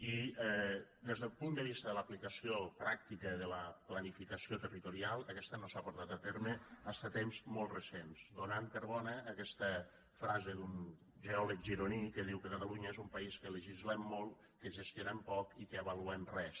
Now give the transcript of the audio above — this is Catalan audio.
i des del punt de vista de l’aplicació pràctica de la planificació territorial aquesta no s’ha portat a terme fins a temps molt recents donant per bona aquesta frase d’un geòleg gironí que diu que catalunya és un país que legislem molt que gestionem poc i que avaluem res